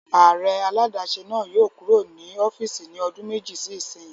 Ààrẹ aládàáṣe náà yóò kúrò ní ọ́fìsì ní ọdún méjì sí ìsínyi